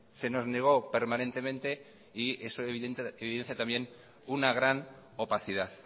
se nos negó permanentemente y es evidente también una gran opacidad